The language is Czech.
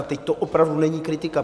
A teď to opravdu není kritika.